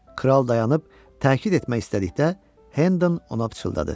Kral dayanıb təkidd etmək istədikdə, Hendon ona pıçıldadı: